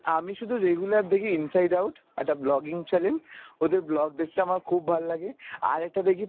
আমি শুধু regular দেখি inside out আর the vlogging channel ওদের vlog দেখতে আমার খুব ভাল্লাগে আর একটা দেখি